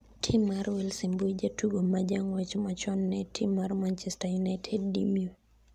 tim mar wales e mbui jatugo majang'wech machon ne tim mar manchester united Dimio